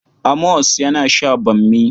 Amos yana sha bammi.